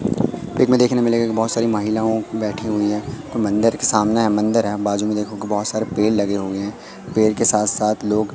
pick में देखने मिलेगा की बहोत सारी महिलाओं बैठी हुई हैं मंदिर के सामने मंदिर है बाजू में देखोगे बहोत सारे पेड़ लगे हुए हैं पेड़ के साथ साथ लोग--